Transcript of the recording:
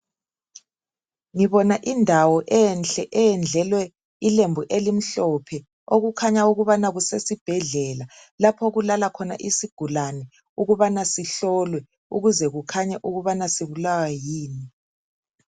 Ngibona indawo enhle, eyendlelwe ilembu elimhlophe. Okukhanya ukubana kusesibhedlela, lapho okulala khona isigulane ukubana sihlolwe. Ukuze kukhanye ukubana sibulawa yini.